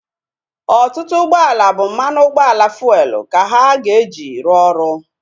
Ọtụtụ ụgbọala bụ mmanụ ụgbọala fuelu ka ha ga-eji rụọ ọrụ